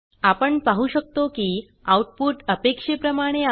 आपण पाहु शकतो की आउटपुट अपेक्षेप्रमाणे आहे